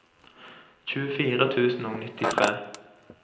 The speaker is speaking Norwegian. tjuefire tusen og nittitre